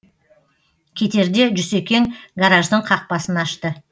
кетерде жүсекең гараждың қақпасын ашты